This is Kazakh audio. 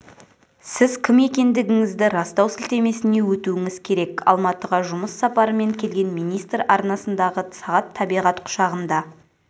сіз кім екендігіңізді растау сілтемесіне өтуіңіз керек алматыға жұмыс сапарымен келген министр арнасындағы сағат табиғат құшағында